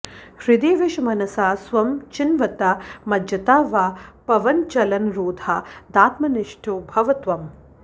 हृदि विश मनसा स्वं चिन्व्ता मज्जता वा पवनचलनरोधादात्मनिष्ठो भव त्वम्